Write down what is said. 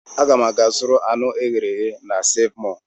Aga m aga zụrụ anụ eghere eghe na Seev Mọọ.